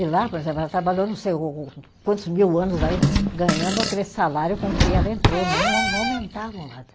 E lá, por exemplo, ela trabalhou, não sei o o quantos mil anos aí, ganhando aquele salário com que ela entrou, não não aumentavam nada.